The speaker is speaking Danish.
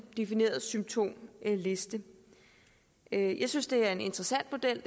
defineret symptomliste jeg jeg synes det er en interessant model